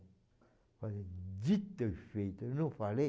Eu falei, dito e feito, eu não falei?